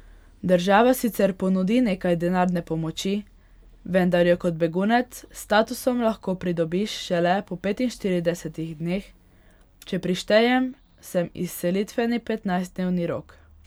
Država sicer ponudi nekaj denarne pomoči, vendar jo kot begunec s statusom lahko pridobiš šele po petinštiridesetih dneh, če prištejem sem izselitveni petnajstdnevni rok.